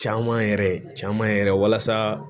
Caman yɛrɛ caman yɛrɛ walasa